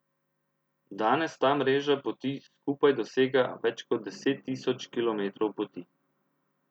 Danes ta mreža poti skupaj dosega več kot deset tisoč kilometrov poti.